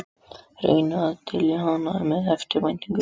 Reynir að dylja hann með eftirvæntingu.